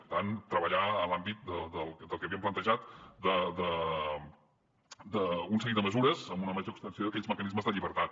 per tant treballar en l’àmbit del que havien plantejat d’un seguit de mesures amb una major extensió d’aquells mecanismes de llibertat